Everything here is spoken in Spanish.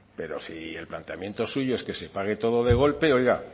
pero si el planteamiento suyo es que se pague todo de golpe oiga